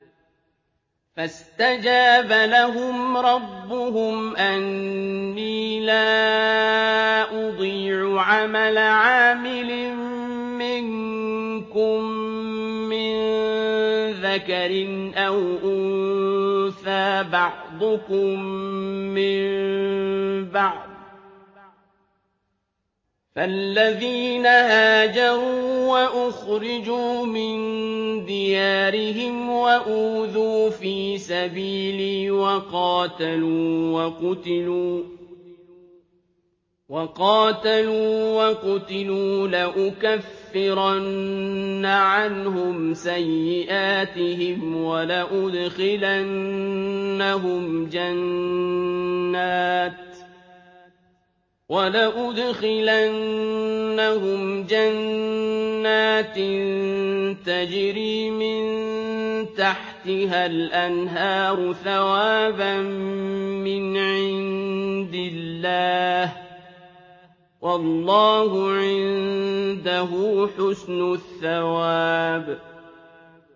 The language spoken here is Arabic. فَاسْتَجَابَ لَهُمْ رَبُّهُمْ أَنِّي لَا أُضِيعُ عَمَلَ عَامِلٍ مِّنكُم مِّن ذَكَرٍ أَوْ أُنثَىٰ ۖ بَعْضُكُم مِّن بَعْضٍ ۖ فَالَّذِينَ هَاجَرُوا وَأُخْرِجُوا مِن دِيَارِهِمْ وَأُوذُوا فِي سَبِيلِي وَقَاتَلُوا وَقُتِلُوا لَأُكَفِّرَنَّ عَنْهُمْ سَيِّئَاتِهِمْ وَلَأُدْخِلَنَّهُمْ جَنَّاتٍ تَجْرِي مِن تَحْتِهَا الْأَنْهَارُ ثَوَابًا مِّنْ عِندِ اللَّهِ ۗ وَاللَّهُ عِندَهُ حُسْنُ الثَّوَابِ